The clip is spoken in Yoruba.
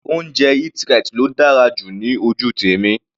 Oúnjẹ Eat-right ló dára jù ní ojú tèmi.